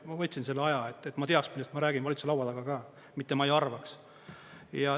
Ma võtsin selle aja, et ma teaks, millest ma räägin, valitsuse laua taga ka, mitte ma ei arvaks.